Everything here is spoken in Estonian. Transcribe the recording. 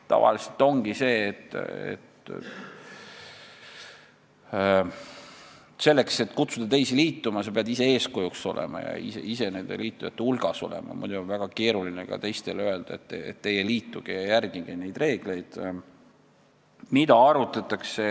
Tavaliselt ongi nii, et kui kutsud teisi liituma, siis sa pead olema ise eeskujuks ja liitujate hulgas olema, muidu on väga keeruline teistele öelda, et teie liituge ja järgige neid reegleid.